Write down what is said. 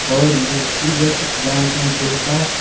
और ये स्कूल हिय। कुछ डांस उन्स होता।